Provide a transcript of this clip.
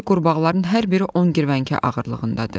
Oradakı qurbağaların hər biri on qırvəngə ağırlığındadır.